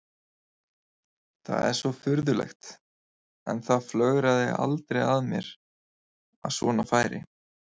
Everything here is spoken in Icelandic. Það er svo furðulegt en það flögraði aldrei að mér að svona færi.